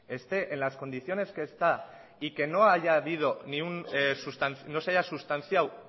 esté en las condiciones que está y que no se haya sustanciado